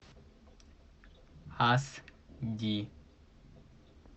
аш ди